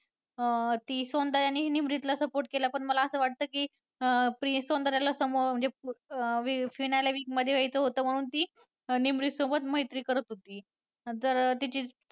अं ती सौंदर्याने निमरीतला support केला पण असं मला वाटतं की अं सौंदर्याला समोर अं finale week मध्ये यायचं होतं म्हणून ती निमरीत सोबत मैत्री करत होती. अं जर तिची